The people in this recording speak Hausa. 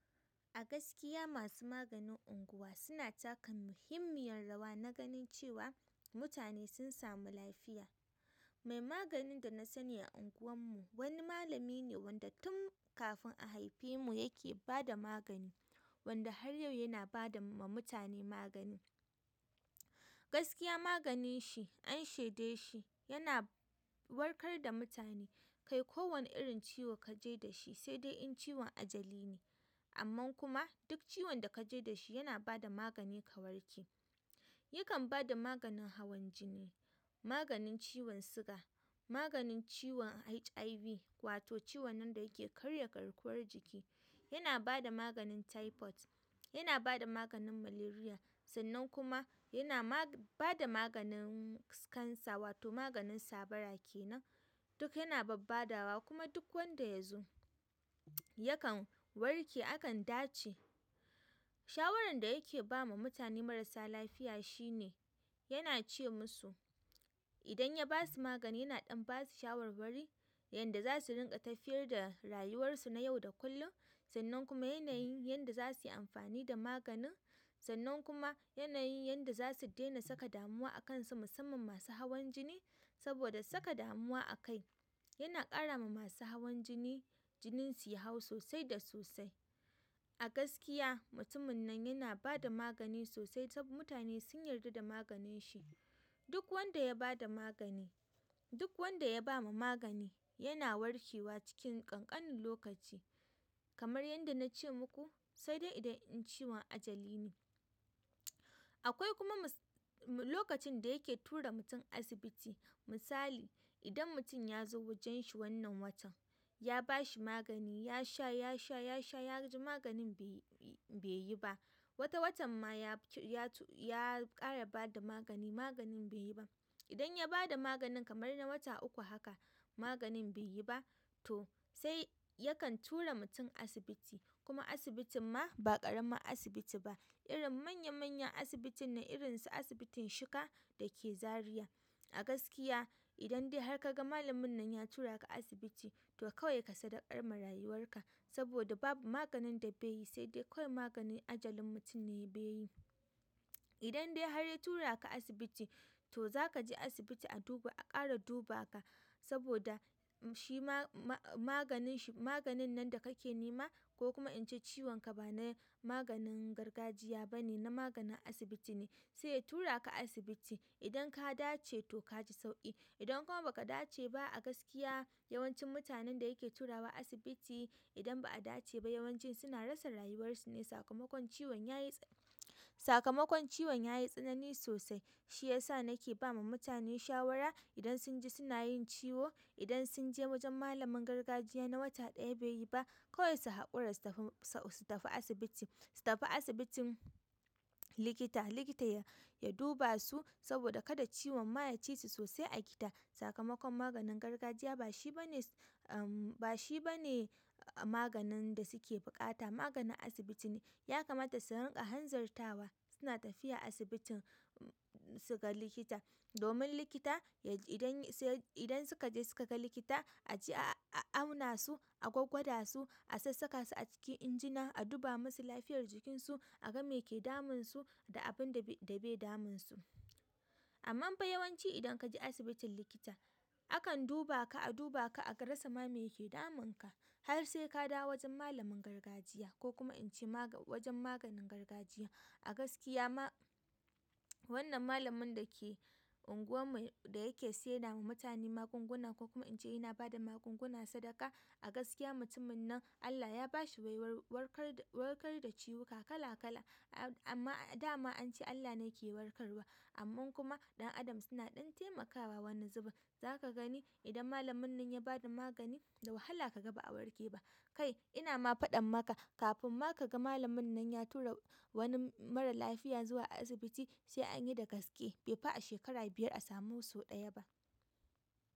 A gaskiya masu maganin unguwa suna taka muhimmiyar rawa na ganin cewa mutane sun samu lafiya. Mai maganin da na sani a unguwar mu wani malami ne wanda tun kafin a haifi mu yake ba da magani, wanda har yau yana ba da ma mutane magani. Gaskiya maganin shi an shaida shi, yana warkar da mutane. Ke ko wani irin ciwo ka je da shi sai fai in ciwon ajali ne. Amman kuma duk ciwon da ka je da shi yana ba da magani ka warke. Ya kan ba da maganin hawan jini, maganin ciwon siga, maganin ciwon HIV wato ciwon nan da yake karya garkuwar jiki. Yana ba da maganin typhoid, yana ba da maganin malaria, sannan kuma yana ba da maganin cancer wato maganin sabara ke nan. Duk yana babbadawa kuma duk wanda ya zo yakan warke, akan dace. Shawaran da yake ba ma mutane marasa lafiya shi ne, yana ce musu idan ya ba su magani yana ɗan ba su shawarwari yadda za su ringa tafiyar da rayuwarsu na yau da kullum. Sannan kuma yanayin yadda za su yi amfani da maganin. Sannan kuma yanayin yadda za su daina saka damuwa a kansu musamman masu hawan jini. Saboda saka damuwa a kai yana ƙara ma masu hawan jini jinin su ya hau sosai da sosai. A gaskiya mutumin nan yana ba da magani sosai saboda mutane sun yarda da maganin shi. Duk wanda ya ba da magani-- duk wanda ya ba ma magani yana warke wa cikin ƙanƙanin lokaci. Kamar yadda na ce muku sai dai idan ciwon ajali ne. Akwai kuma lokacin da yake tura mutum asibiti. Misali, idan mutum ya zo wajen shi wannan watan ya ba shi magani ya sha, ya sha, ya sha ya ji maganin bai yi ba. Wata watan ma ya, ya ƙara ba da magani maganin bai yi ba. Idan ya ba da maganin kamar na wata uku haka maganin bai yi ba to sai yakan tura mutum asibiti. Kuma asibitin ma ba ƙaramin asibiti ba. Irin manya manyan asibituna irin su asibitin Shika da ke Zariya. A gaskiya idan dai har ka ga malamin nan ya tura ka asibiti to kawai ka sadaukar ma rayuwar ka. Saboda babu maganin da bai yi, sai dai kawai maganin ajalin mutum ne bai yi. Idan dai har ya tura ka asibiti to za ka je asibiti a ƙara dubaa ka. Saboda shi ma maganin, maganin nan da ka ke nema ko kuma in ce ciwon ka ba na maganin gargajiya ba ne, na maganin asibiti ne. Sai tura ka asibiti. Idan ka dace to ka ji sauƙi idan kuma ba ka dace ba a gaskiya yawancin mutanen da ya ke turawa asibiti idan ba'a dace ba yawanci suna rasa rayuwar su ne. Sakamakon ciwon yayi, sakamakon ciwon yayi tsanani sosai. Shiyasa na ke ba wa mutane shawara idan sun ji suna yin ciwo idan sun je wajen maganin gargajiya na wata ɗaya bai yi ba, kawai su haƙura su je asibiti. Su tafi asibitin likita, likita ya dubasu saboda kada ciwon ma ya ci su sosai a gita. Sakamakon maganin gargajiya ba shi bane, ba shi bane maganin da suke buƙata. Maganin asibiti ne. Ya kamata su ringa hanzartawa suna tafiya asibitin su ga likita. Domin likita, idan suka je su ka ga likita aje a aunasu a gwgwada su a sassaka su a cikin injina aduba masu lafiyar jikin su a ga me ke damun su da abinda ve damun su amma fa yawanci idan ka je asibitin likita akan dubaa ka, a dubaa ka, a rasa ma me yake damun ka. Har sai ka dawo wajen malamin gargajiya ko kuma in ce wajen maganin gargajiya. A gaskiya ma wannan malamin da ke unguwar mu da yake sayar ma mutane magunguna ko kuma in ce yana ba da magunguna sadaka. A gaskiya mutumin nan Allah ya ba shi baiwar warkar, warkar da ciwuka kala kala. Amma dama an ce Allah ne yake warkarwa. Amman kuma ɗan adam suna ɗan taimakawa wani zubin. Za ka gani idan malamin nan ya basa magani da wahala ka ga ba'a warke ba kai ina ma faɗan maka kafin ma ka ga malamin nan ya tura wani marar lafiya zuwa asibiti sai an yi da gaske bai fi a shekara biyar a samu sau ɗaya ba.